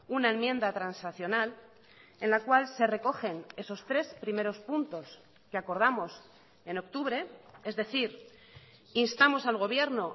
una enmienda transaccional en la cual se recogen esos tres primeros puntos que acordamos en octubre es decir instamos al gobierno